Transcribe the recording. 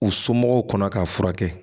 U somɔgɔw kɔnɔ k'a furakɛ